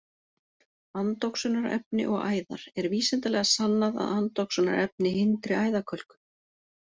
Andoxunarefni og æðar: Er vísindalega sannað að andoxunarefni hindri æðakölkun?